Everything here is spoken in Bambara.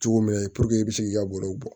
Cogo min na puruke i bɛ se k'i ka baro bɔ